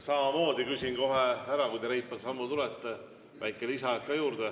Samuti küsin kohe ära, kui te reipal sammul siiapoole tulete, kas väike lisaaeg ka juurde.